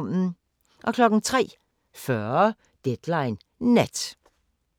03:40: Deadline Nat